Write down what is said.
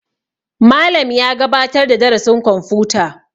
Malam ya gabatar da darasin kwamfuta